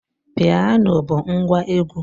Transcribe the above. Piano bụ ngwa egwu